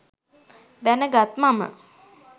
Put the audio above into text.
දැනගත් මම